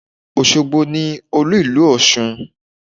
Òṣogbo ni Olú ìlú Ọ̀ṣun.